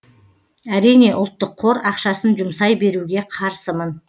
әрине ұлттық қор ақшасын жұмсай беруге қарсымын